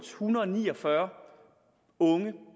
hundrede og ni og fyrre unge